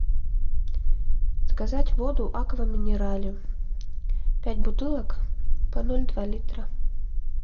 заказать воду аква минерале пять бутылок по ноль два литра